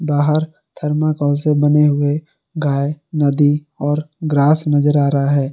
बाहर थर्माकोल से बने हुए गाय नदी और ग्रास नजर आ रहा है।